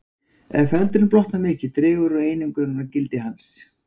Ef feldurinn blotnar dregur mikið úr einangrunargildi hans.